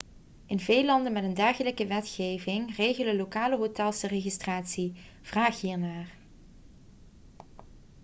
in veel landen met een dergelijke wetgeving regelen lokale hotels de registratie vraag hier naar